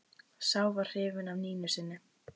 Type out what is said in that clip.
Sá var hrifinn af Nínu sinni.